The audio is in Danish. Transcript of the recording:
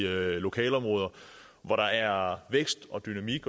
lokalområder hvor der er vækst og dynamik